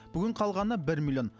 бүгін қалғаны бір миллион